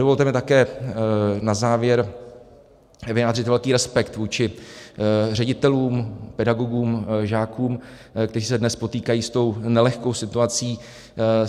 Dovolte mi také na závěr vyjádřit velký respekt vůči ředitelům, pedagogům, žákům, kteří se dnes potýkají s tou nelehkou situací.